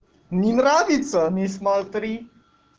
не нравится не смотри